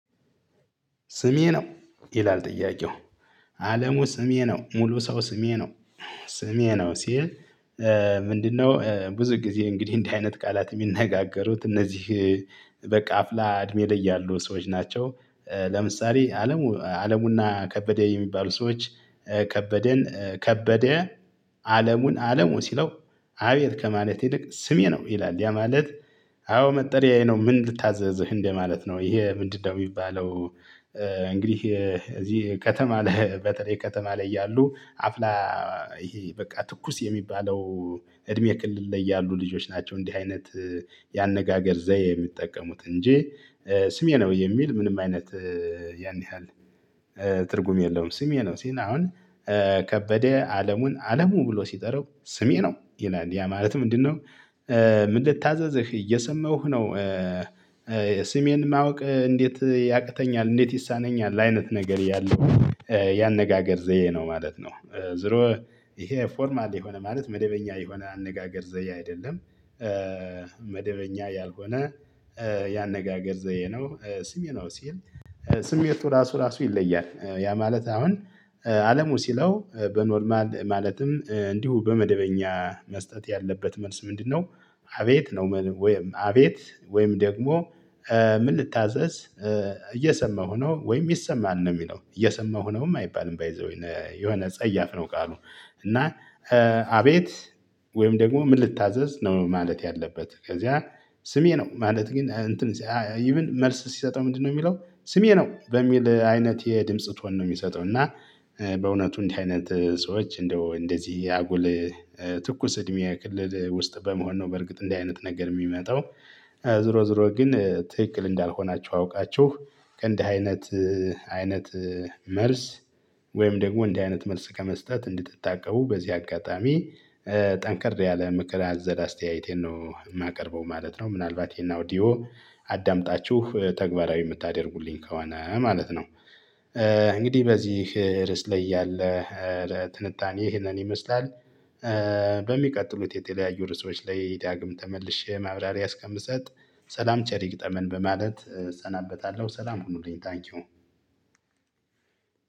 ስሜ ነው? ይላል ጥያቄው። አለሙ ስሜ ነው። ሙሉ ሰው ስሜ ነው። ስሜ ነው ሲል ምንድነው ብዙ ጊዜ እንግዲህ እንዲህ አይነት ቃላት የሚነጋገሩት እነዚህ በቃ አፍላ እድሜ ላይ ያሉ ሰዎች ናቸው። ለምሳሌ አለሙ አለሙና ከበደ የሚባሉ ሰዎች ከበደን ከበደ አለሙን አለሙ ሲለው አቤት ከማለት ይልቅ ስሜ ነው ይላል። ያ ማለት አዎ መጠሪያዬ ነው። ምን ልታዘዝህ? እንደማለት ነው። ይሄ ምንድነው የሚባለው እንግዲህ እዚህ ከተማ ላይ በተለይ ከተማ ላይ ያሉ አፍላ ይሄ በቃ ትኩስ የሚባለው እድሜ ክልል ላይ ያሉ ልጆች ናቸው እንዲህ አይነት ያነጋገር ዘዬ የሚጠቀሙት። እንጂ ስሜ ነው። የሚል ምንም አይነት ያን ያህል ትርጉም የለውም። ስሜ ነው ሲል አሁን ከበደ አለሙን አለሙ ብሎ ሲጠራው ስሜ ነው ይላል። ያ ማለት ምንድነው ምን ልታዘዝህ? እየሰማሁህ ነው። ስሜን ማወቅ እንዴት ያቅተኛል እንዴት ይሳነኛል አይነት ነገር ያለው ያነጋገር ዘዬ ነው ማለት ነው። ዝሮወ ይሄ ፎርማል የሆነ ማለት መደበኛ የሆነ አነጋገር ዘዬ አይደለም። መደበኛ ያልሆነ ያነጋገር ዘዬ ነው። ስሜ ነው ሲል ስሜቱ ራሱ ራሱ ይለያል። ያ ማለት አሁን አለሙ ሲለው በ'ኖርማል' ማለትም እንዲሁ በመደበኛ መስጠት ያለበት መልስ ምንድነው አቤት ነው። ወይም አቤት ወይም ደግሞ ምን ልታዘዝ? እየሰማሁ ነው። ወይም ይሰማል ነው የሚለው። እየሰማሁ ነው አይባልም። 'ባይ ዘ ዌይ' የሆነ ጸያፍ ነው ቃሉ። እና አቤት ወይም ደግሞ ምን ልታዘዝ ነው ማለት ያለበት። ከዚያ ስሜ ነው። ማለት ግን እንትን መልስ ሲሰጠው ምንድነው የሚለው ስሜ ነው። በሚል አይነት የድምጽ ቶን ነው። የሚሰጠው እና በእውነቱ እንዲህ አይነት ሰዎች እንደው እንደዚህ አጉል ትኩስ እድሜ ክልል ውስጥ በመሆን ነው። በርግጥ እንዲህ አይነት ነገር የሚመጣው። ዞሮ ዞሮ ግን ትክክል እንዳልሆናችሁ አውቃችሁ ከእንዲህ አይነት አይነት መልስ ወይም ደግሞ እንዲህ አይነት መልስ ከመስጠት እንድትታቀቡ በዚህ አጋጣሚ ጠንከር ያለ ምክር አዘል አስተያየቴን ነው የማቀርበው ማለት ነው። ምናልባት ይሄን 'አውዲኦ' አዳምጣችሁ ተግባራዊ የምታደርጉልኝ ከሆነ ማለት ነው። እንግዲህ በዚህ ርዕስ ላይ ያለ ትንታኔ ይሄንን ይመስላል። በሚቀጥሉት የተለያዩ ርዕሶች ላይ ዳግም ተመልሼ ማብራሪያ እስከምሰጥ ሰላም ቸር ይግጠመን በማለት እሰናበታለሁ። ሰላም ሁኑልኝ። 'ታንኪው'